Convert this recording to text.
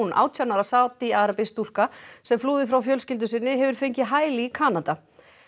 átján ára Sádi arabísk stúlka sem flúði frá fjölskyldu sinni hefur fengið hæli í Kanada